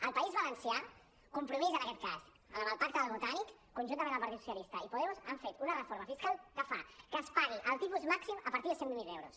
al país valencià compromís en aquest cas amb el pacte del botànic conjuntament amb el partit socialista i podemos han fet una reforma fiscal que fa que es pagui el tipus màxim a partir de cent i vint miler euros